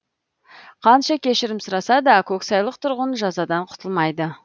қанша кешірім сұраса да көксайлық тұрғын жазадан құтылмайды